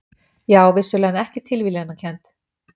Já, vissulega, en ekki tilviljanakennd.